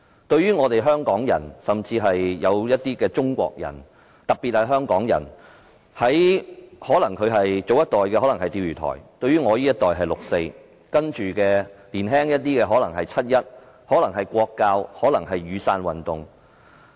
對於香港人甚至部分中國人，特別是香港人，早一代的事情可能是釣魚台事件，到了我這一代便是六四，而較年輕的一代則可能是七一、"國教"或雨傘運動。